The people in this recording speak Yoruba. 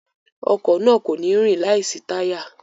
Ọkọ̀ náà kò ní rìn láìsí táyà